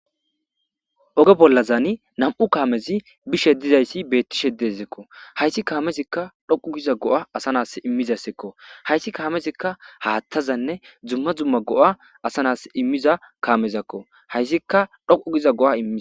Oge bolazani nam'u kaamezi bishe dizaysi beetishe de'es haysi kaamezika dhoqo giza go'a asa na'asi imizaysako haysi kaamezika haathazane duma duma go'a asa na'asi imiza kaamezako haysika dhoqu giza go'a imizaysako.